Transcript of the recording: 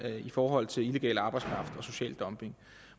i forhold til illegal arbejdskraft og social dumping